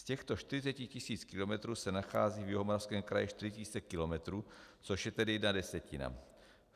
Z těchto 40 tisíc kilometrů se nachází v Jihomoravském kraji 4 tisíce kilometrů, což je tedy jedna desetina.